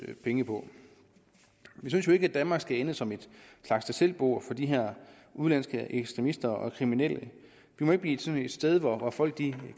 penge på vi synes jo ikke at danmark skal ende som en slags tag selv bord for de her udenlandske ekstremister og kriminelle vi må ikke blive sådan et sted hvor folk